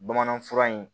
Bamanan fura in